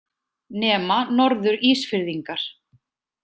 Nema Norður- Ísfirðingar.